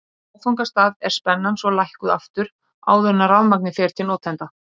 Á áfangastað er spennan svo lækkuð aftur áður en rafmagnið fer til notenda.